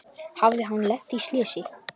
Hafði hann lent í slysi?